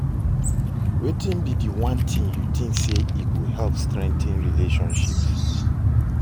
Wetin be di one thing you think say e go help strengthen relationships?